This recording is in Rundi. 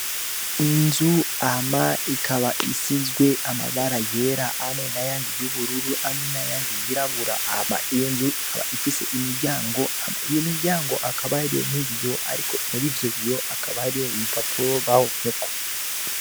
Inzu hama ikaba isizwe amabara yera hamwe n'ayandi y'ubururu hamwe n'ayandi yirabura. Iyo nzu ikaba ifise imiryango, iyo miryango hakaba n'ibiyo ariko muri ivyo hakaba hari ibipapuro bahomyeko.